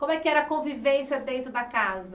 Como é que era a convivência dentro da casa?